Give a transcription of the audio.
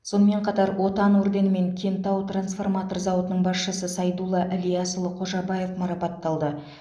сонымен қатар отан орденімен кентау трансформатор зауытының басшысы сайдулла ілиясұлы қожабаев марапатталды